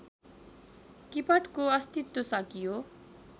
किपटको अस्तित्व सकियो